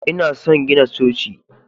lna son gina Coci.